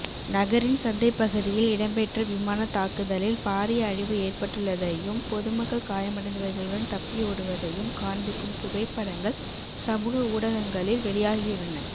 நகரின் சந்தைப்பகுதியில் இடம்பெற்ற விமானதாக்குதலில் பாரிய அழிவு ஏற்பட்டுள்ளதையும் பொதுமக்கள் காயமடைந்தவர்களுடன் தப்பியோடுவதையும் காண்பிக்கும் புகைப்படங்கள் சமூக ஊடகங்களில் வெளியாகியுள்ளன